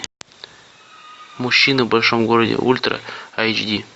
мужчины в большом городе ультра эйч ди